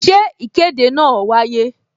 Ṣé ìkéde náà wáyé?